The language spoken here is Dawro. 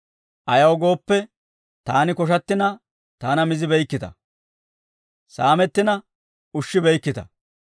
Ayaw gooppe, taani koshattina, taana mizibeykkita; saamettina ushshibeykkita.